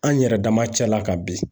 An yɛrɛ dama cɛla kabi